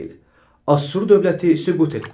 Assur dövləti süqut etdi.